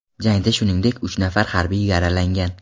Jangda shuningdek uch nafar harbiy yaralangan.